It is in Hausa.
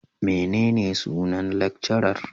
Menene sunan lecturer?